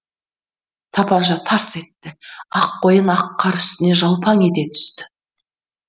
тапанша тарс етті ақ қоян ақ қар үстіне жалпаң ете түсті